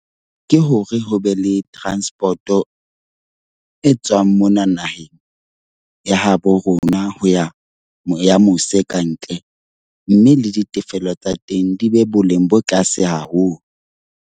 Ke hore ho be le transport-o e tswang mona naheng ya habo rona ho ya ya mose kantle. Mme le ditefello tsa teng di be boleng bo tlase haholo.